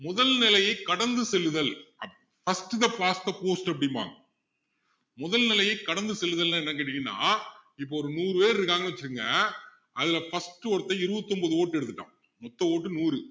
முதல் நிலையை கடந்து செல்லுதல் first the past the post அப்படிம்பாங்க முதல் நிலையை கடந்து செல்லுதல்னா என்னன்னு கேட்டிங்கன்னா இப்போ ஒரு நூறு பேர் இருக்காங்கன்னு வச்சுக்கங்க அதுல first ஒருத்தன் இருபத்து ஒன்பது vote எடுத்துட்டான் மொத்த vote நூறு